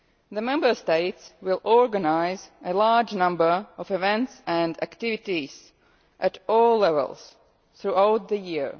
The Member States will organise a large number of events and activities at all levels throughout the year.